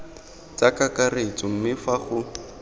tsa kakaretso mme fa go